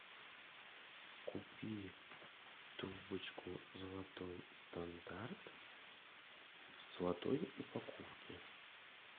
купи трубочку золотой стандарт в золотой упаковке